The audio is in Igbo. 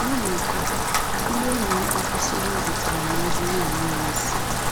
N’ihi nke a, ndị enyi m akwụsịwo izitere m ozi ndị na-enweghị isi